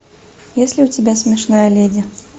есть ли у тебя смешная леди